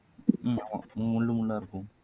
உம் ஆமா முள்ளு முள்ளா இருக்கும்